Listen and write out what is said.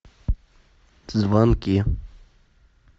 звонки